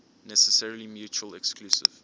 necessarily mutually exclusive